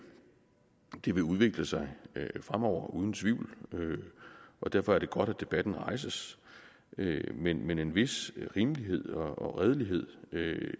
det vil udvikle sig fremover uden tvivl og derfor er det godt at debatten rejses men men en vis rimelighed og redelighed